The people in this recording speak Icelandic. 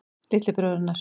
Litli bróðirinn hennar.